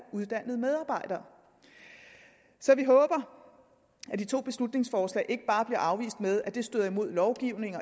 uddannede medarbejdere så vi håber at de to beslutningsforslag ikke bare bliver afvist med at de støder imod lovgivningen